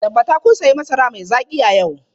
Tabbatar kun sayi masara mai zaki a yau!